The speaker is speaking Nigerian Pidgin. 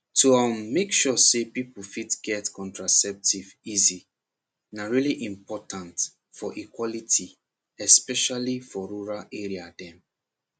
to um make sure people fit get contraceptive easy na really important for equality especially for rural area dem